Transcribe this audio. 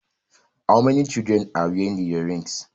How many children are wearing the earrings